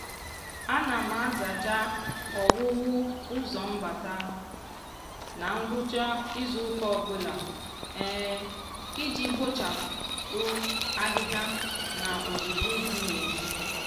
ana m azacha ọwụwụ ụzọ mbata na ngwụcha izuụka ọbụla iji kpọchapụ ahịhịa na uzuzu dị n'ezi.